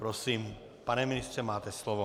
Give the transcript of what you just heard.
Prosím, pane ministře, máte slovo.